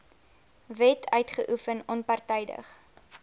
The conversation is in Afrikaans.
wet uitoefen onpartydig